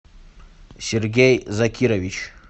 сергей закирович